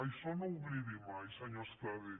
això no ho oblidi mai senyor estradé